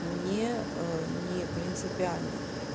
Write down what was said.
мне не принципиально